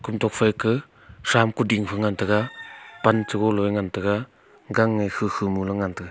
kom tokphai ke tham kuding ngan tega pan golow a ngan tega gang a khu khu mole ngan tega.